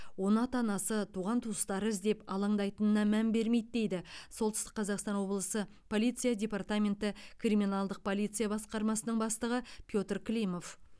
оны ата анасы туған туыстары іздеп алаңдайтынына мән бермейді дейді солтүстік қазақстан облысы полиция департаменті криминалдық полиция басқармасының бастығы петр климов